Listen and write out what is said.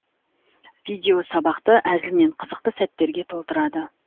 видео сабақты әзіл мен қызықты сәттерге толтырады